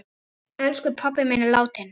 Elsku pabbi minn er látinn.